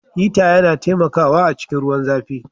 Hita yana taimakawa a cikin ruwan zãfi.